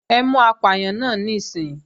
Ẹ mú apàyàn náà níìsín!